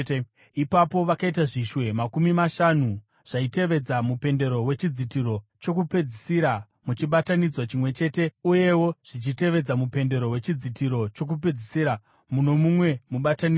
Ipapo vakaita zvishwe makumi mashanu zvaitevedza mupendero wechidzitiro chokupedzisira muchibatanidzwa chimwe chete uyewo zvichitevedza mupendero wechidzitiro chokupedzisira muno mumwe mubatanidzwa.